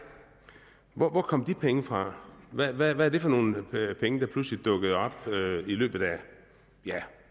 hvor kom de penge fra hvad hvad er det for nogle penge der pludselig er dukket op i løbet af